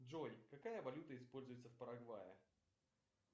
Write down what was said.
джой какая валюта используется в парагвае